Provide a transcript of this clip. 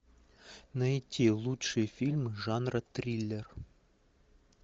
найти лучшие фильмы жанра триллер